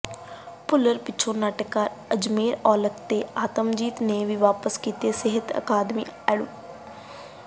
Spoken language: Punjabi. ਭੁੱਲਰ ਪਿਛੋਂ ਨਾਟਕਕਾਰ ਅਜਮੇਰ ਔਲਖ ਅਤੇ ਆਤਮਜੀਤ ਨੇ ਵੀ ਵਾਪਸ ਕੀਤੇ ਸਹਿਤ ਅਕਾਦਮੀ ਅਵਾਰਡ